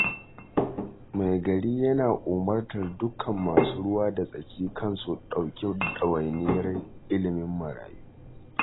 Maigari yana umartar dukkan masu ruwa da tsaki kan su ɗauki ɗawainiyar ilimin marayu.